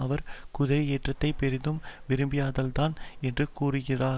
அவர் குதிரையேற்றத்தை பெரிதும் விரும்பியதால்தான் என்று கூறுகிறார்